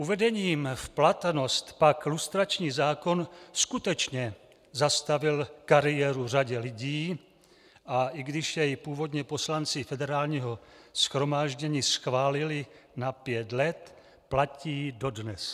Uvedením v platnost pak lustrační zákon skutečně zastavil kariéru řadě lidí, a i když jej původně poslanci Federálního shromáždění schválili na pět let, platí dodnes.